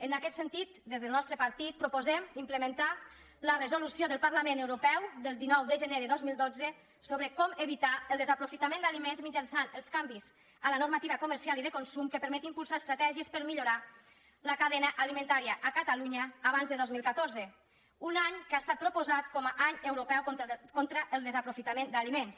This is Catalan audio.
en aquest sentit des del nostre partit proposem implementar la resolució del parlament europeu del dinou de gener del dos mil dotze sobre com evitar el desaprofitament d’aliments mitjançant els canvis a la normativa comercial i de consum que permeti impulsar estratègies per millorar la cadena alimentària a catalunya abans de dos mil catorze un any que ha estat proposat com a any europeu contra el desaprofitament d’aliments